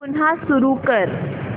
पुन्हा सुरू कर